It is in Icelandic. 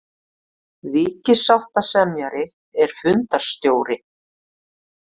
Ríkissáttasemjari er fundarstjóri